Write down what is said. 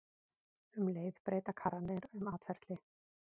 Um leið breyta karrarnir um atferli.